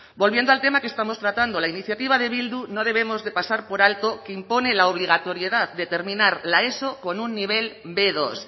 volviendo al tema que estamos tratando la iniciativa de bildu no debemos de pasar por alto que impone la obligatoriedad de terminar la eso con un nivel be dos